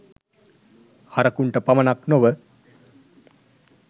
හරකුන්ට පමණක් නොව